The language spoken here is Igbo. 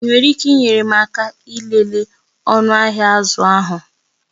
Ị nwere ike inyere m aka ịlele ọnụ ahịa azụ ahụ?